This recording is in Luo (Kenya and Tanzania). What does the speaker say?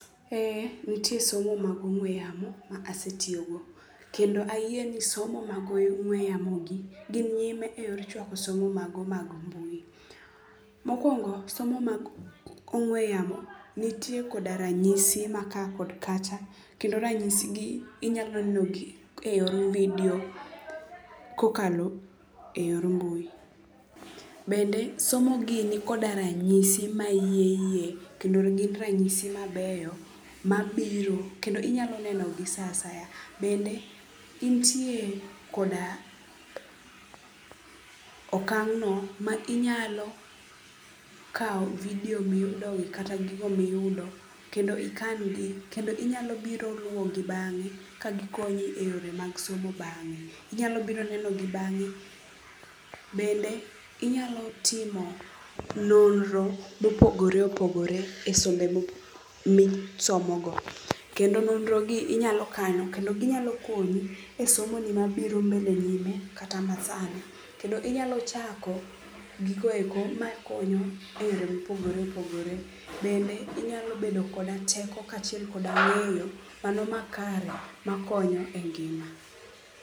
Eh nitie somo mag ong'we yamo ma asetiyogo, kendo ayie ni somo mag ong'we yamogi gin nyime e yo chwako somo mago mag mbui. Mokwongo somo mag ong'we yamo nitie koda ranyisi ma ka kod kacha kendo ranyisigi inyalo nenogi e yor vidio kokalo e yor mbui. Bende somogi ni koda ranyisi ma hie hie kendo gin ranyisi mabeyo mabiro kendo inyalo nenogi sa asaya. Bende intie koda okang'no ma inyalo kawo vidio miyudogi kata gigo miyudo kendo ikangi kendo inyalo biro luwogi bang'e kagikonyi e yore mag somo bang'e, inyalo biro nenogi bang'e. Bende inyalo timo nonro mopogore opogore e sombe misomogo kendo nonrogi inyalo kano kendo ginyalo konyi e somoni mabiro mbele nyime kata masani. Kendo inyalo chako gigoeko makonyo e yore mopogore opogore. Bende inyalo bedo koda teko kaachiel koda ng'eyo mano makare makonyo e ngima.